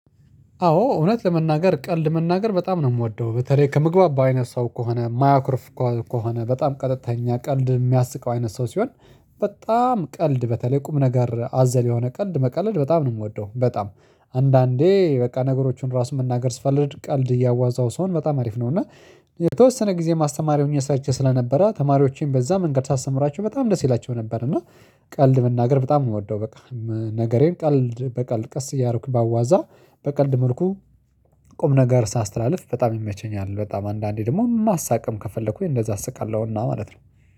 አዎ እውነት ለመናገር ቀልድ መናገር በጣም ነው የምወደው በተለይ ከምግባባው አይነት ሰው ከሆነ የማያኩርፍ ከሆነ በጣም ቀጥተኛ ቀልድ የሚያስቀው አይነት ሰው ሲሆን በጣም ቀልድ በተለይ ቁም ነገር አዘል የሆነ ቀልድ መቀለድ በጣም ነው የምወደው በጣም አንዳንዴ በቃ ነገሮችን ራሱን መናገር ስፈለግ ቀልድ እያዋዛው ሲሆን በጣም አሪፍ ነው። እና የተወሰነ ጊዜ አስተማሪ ሆኜም ሰርቼ ስለነበረ ተማሪዎቼን በዛ መንገድ ሳስተምራቸው በጣም ደስ ይላቸው ነበር። እና ቀልድ መናገር በጣም የምወደው በቃ ነገሬን ቀልድ በቀልድ ቀስ እያረኩ ባዋዛ በቀልድ መልኩ ቁም ነገር ሳስተላልፍ በጣም ይመቸኛል በጣም አንዳንዴ ደግሞ ማሳቀም ከፈለኩኝ እንደዛ አስቃለሁና ማለት ነው